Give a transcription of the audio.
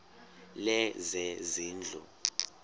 lezezindlu